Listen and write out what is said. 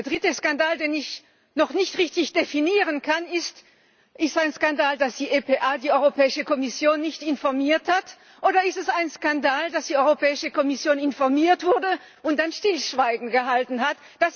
Der dritte Skandal, den ich noch nicht richtig definieren kann Ist es ein Skandal, dass die EPA die Europäische Kommission nicht informiert hat, oder ist es ein Skandal, dass die Europäische Kommission informiert wurde und dann Stillschweigen geübt hat?